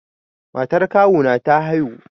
Matar kawu na ta haihu.